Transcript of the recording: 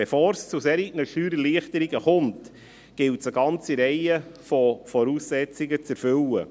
Bevor es zu solchen Steuererleichterungen kommt, gilt es, eine ganze Reihe von Voraussetzungen zu erfüllen.